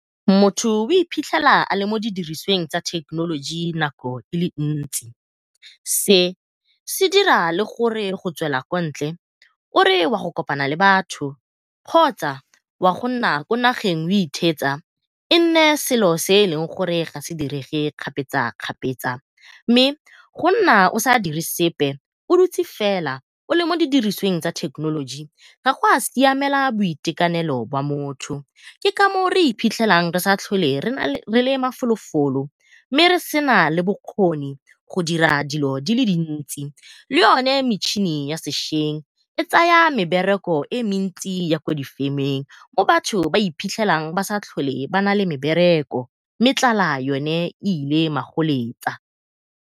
Motho o iphitlhela a le mo di dirisweng tsa thekenoloji nako e le dintsi, se se dira gore le go tswela kontle o re wa go kopana le batho kgotsa wa go nna ko nageng o itheetsa e nne selo se e leng gore ga se direge kgapetsakgapetsa. Mme go nna o sa dire sepe o dutse fela o le mo di dirisweng tsa thekenoloji ga gwa siamela boitekanelo bwa motho. Ke ka moo re iphitlhelang re sa tlholeng re le mafolofolo mme re sena le bokgoni go dira dilo dile dintsi, le yone metšhini ya sešweng e tsaya mebereko e mentsi ya ko difemeng mo batho ba iphitlhelang ba sa tlhole ba nale mebereko mme tlala yone e ile magoletsa.